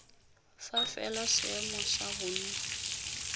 fa fela seemo sa bonno